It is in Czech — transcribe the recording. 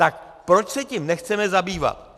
Tak proč se tím nechceme zabývat?